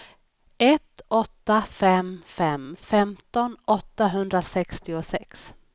ett åtta fem fem femton åttahundrasextiosex